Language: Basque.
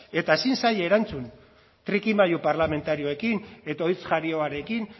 eta ezin zaie erantzun trikimailu parlamentarioekin eta hitz jarioarekin